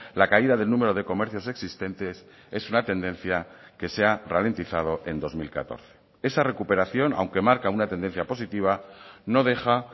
la caída del número de comercios existentes es una tendencia que se ha ralentizado en dos mil catorce esa recuperación aunque marca una tendencia positiva no deja